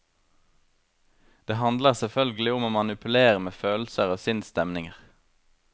Det handler selvfølgelig om å manipulere med følelser og sinnsstemninger.